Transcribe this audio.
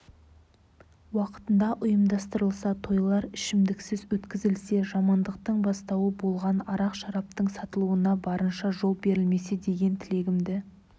уақытында ұйымдастырылса тойлар ішімдіксіз өткізілсе жамандықтың бастауы болған арақ-шараптың сатылуына барынша жол берілмесе деген тілегімді